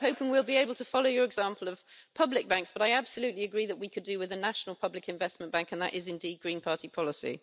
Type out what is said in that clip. I'm hoping we will be able to follow your example of public banks, and I absolutely agree that we could do with a national public investment bank and that is indeed Green party policy.